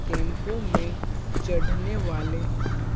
टेंपों में चढ़ने वाले हैं।